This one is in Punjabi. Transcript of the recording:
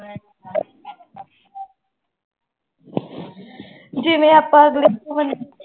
ਜਿਵੇਂ ਆਪਾਂ ਅਗਲੇ